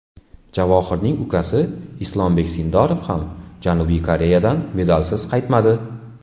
Javohirning ukasi Islombek Sindorov ham Janubiy Koreyadan medalsiz qaytmadi.